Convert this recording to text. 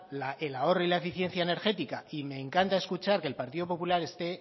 el ahorro y la eficiencia energética y me encanta escuchar que el partido popular esté